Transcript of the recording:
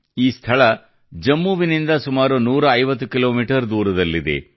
ಈ ಸ್ಥಳವು ಜಮ್ಮುವಿನಿಂದ ಸುಮಾರು 150 ಕಿಲೋಮೀಟರ್ ದೂರದಲ್ಲಿದೆ